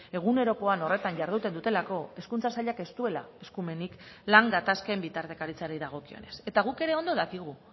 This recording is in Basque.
egunerokoan horretan jarduten dutelako hezkuntza sailak ez duela eskumenik lan gatazken bitartekaritzari dagokionez eta guk ere ondo dakigu